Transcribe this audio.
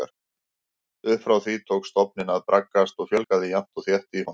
Upp frá því tók stofninn að braggast og fjölgaði jafnt og þétt í honum.